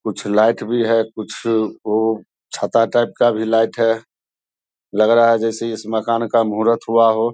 कुछ लाइक भी हैं कुछ ओ छाता टाइप का भी लाइट हैं लग रहा हैं जैसे इस मकान का मूहरत हुआ हो।